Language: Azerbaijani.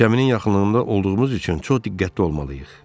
Gəminin yaxınlığında olduğumuz üçün çox diqqətli olmalıyıq.